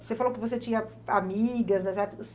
Você falou que você tinha amigas nessa época.